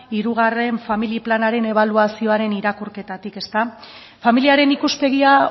hirugarren familia planaren ebaluazioaren irakurketatik familiaren ikuspegia